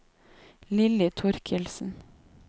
Lilly Thorkildsen